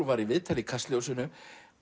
var í viðtali í Kastljósinu